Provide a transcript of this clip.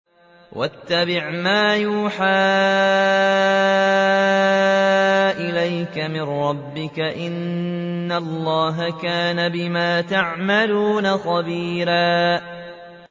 وَاتَّبِعْ مَا يُوحَىٰ إِلَيْكَ مِن رَّبِّكَ ۚ إِنَّ اللَّهَ كَانَ بِمَا تَعْمَلُونَ خَبِيرًا